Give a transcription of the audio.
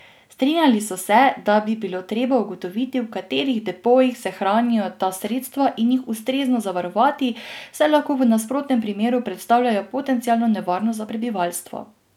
Strinjali so se, da bi bilo treba ugotoviti, v katerih depojih se hranijo ta sredstva, in jih ustrezno zavarovati, saj lahko v nasprotnem primeru predstavljajo potencialno nevarnost za prebivalstvo.